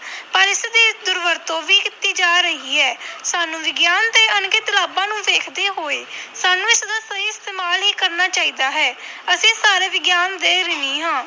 ਪਰ ਇਸਦੀ ਦੁਰਵਰਤੋਂ ਵੀ ਕੀਤੀ ਜਾ ਰਹੀ ਹੈ ਸਾਨੂੰ ਵਿਗਿਆਨ ਦੇ ਅਣਗਿਣਤ ਲਾਭਾਂ ਨੂੰ ਵੇਖਦੇ ਹੋਏ ਸਾਨੂੰ ਇਸਦਾ ਸਹੀ ਇਸਤੇਮਾਲ ਹੀ ਕਰਨਾ ਚਾਹੀਦਾ ਹੈ ਅਸੀਂ ਸਾਰੇ ਵਿਗਿਆਨ ਦੇ ਰਿਣੀ ਹਾਂ।